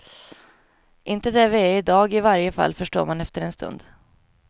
Inte där vi är i dag i varje fall, förstår man efter en stund.